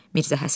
Mirzə Həsən.